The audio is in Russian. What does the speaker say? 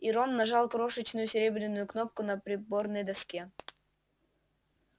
и рон нажал крошечную серебряную кнопку на приборной доске